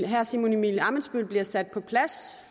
herre simon emil ammitzbøll bliver sat på plads